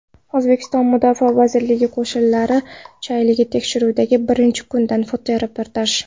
O‘zbekiston Mudofaa vazirligi qo‘shinlari shayligi tekshiruvining birinchi kunidan fotoreportaj.